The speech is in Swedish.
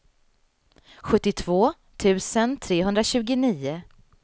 sjuttiotvå tusen trehundratjugonio